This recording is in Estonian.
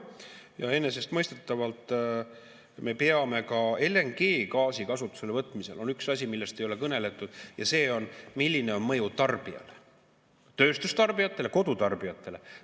Ja enesestmõistetavalt me peame ka LNG kasutuselevõtmisel on üks asi, millest ei ole kõneldud, ja see on, milline on mõju tarbijatele – tööstustarbijatele, kodutarbijatele.